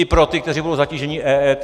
I pro ty, kteří budou zatíženi EET?